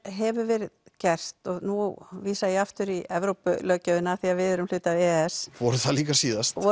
hefur verið gert og nú vísa ég aftur í Evrópulöggjöfina af því við erum hluti af e e s vorum það líka síðast